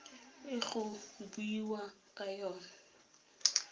e go buiwang ka yona